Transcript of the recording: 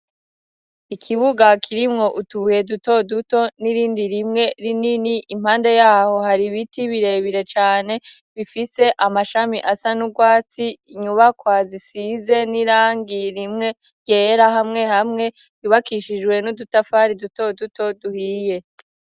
Ikibuga kirimwo utubuye duto duto n'irindi rimwe rinini impande yaho hari ibiti birebire cane bifise amashami asa n'urwatsi, inyubakwa zisize n'irangi rimwe ryera hamwe hamwe yubakishijwe n'udutafari duto duto duhiye.